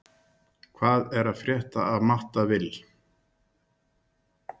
Sjá fréttina í heild: Hvað er að frétta af Matta Vill?